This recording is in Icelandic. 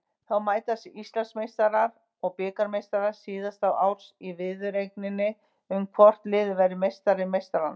Þá mætast Íslandsmeistarar og bikarmeistarar síðasta árs í viðureigninni um hvort liðið verður meistari meistaranna.